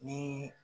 Ni